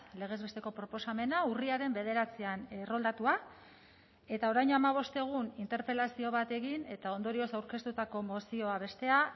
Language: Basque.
legez besteko proposamena urriaren bederatzian erroldatua eta orain hamabost egun interpelazio bat egin eta ondorioz aurkeztutako mozioa bestea